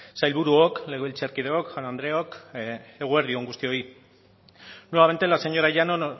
sailburuok legebiltzarkideok jaun andreok eguerdi on guztioi nuevamente la señora llanos